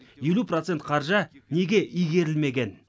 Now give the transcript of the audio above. елу процент қаржы неге игерілмеген